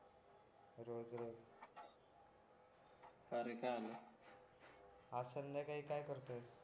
अरे कारे आज संध्याकाळी काय करतोय